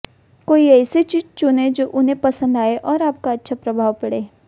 कोई ऐसी चीज चुनें जो उन्हें पसंद आए और आपका अच्छा प्रभाव पड़े